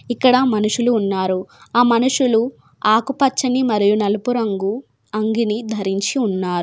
ఇక్కడ మనుషులు ఉన్నారు. ఆ మనుషులు ఆకుపచ్చని మరియు నలుపు రంగు అంగిని ధరించి ఉన్నారు.